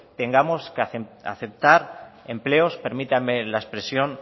tengamos que aceptar empleos permítanme la expresión